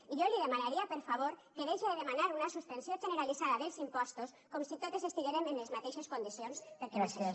i jo li demanaria per favor que deixe de demanar una suspensió generalitzada dels impostos com si totes estiguérem en les mateixes condicions perquè no és així